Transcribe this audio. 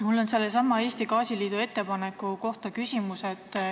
Mul on küsimus sellesama Eesti Gaasiliidu ettepaneku kohta.